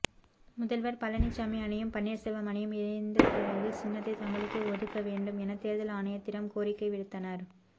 முதல்வர் பழனிச்சாமி அணியும் பன்னீர்செல்வம் அணியும் இணைந்தபிறகு சின்னத்தை தங்களுக்கே ஒதுக்க வேண்டும் என தேர்தல் ஆணையத்திடம் கோரிக்கை விடுத்தனர்